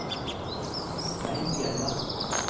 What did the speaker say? Svein Hjelle